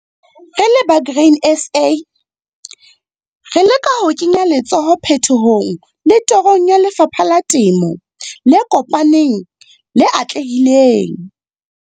Re le ba Grain SA, re leka ho kenya letsoho phetohong le torong ya lefapha la temo le kopaneng, le atlehileng.